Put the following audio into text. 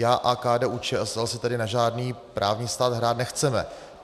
Já a KDU-ČSL si tedy na žádný právní stát hrát nechceme.